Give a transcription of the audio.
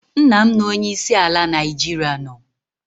Nna' m na onye isi ala Naijiria nọ